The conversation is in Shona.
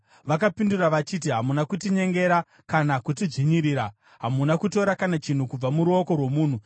Vakapindura vachiti, “Hamuna kutinyengera kana kutidzvinyirira. Hamuna kutora kana chinhu kubva muruoko rwomunhu.”